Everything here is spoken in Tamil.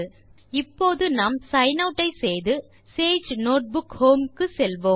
இப்போது நாம் சிக்ன் ஆட் செய்து சேஜ் நோட்புக் ஹோம் க்கு செல்வோம்